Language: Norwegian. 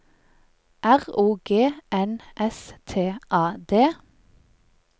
R O G N S T A D